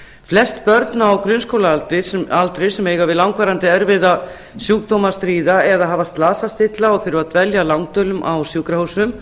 flest börn á grunnskólaaldri sem eiga við langvarandi erfiða sjúkdóma að stríða eða hafa slasast illa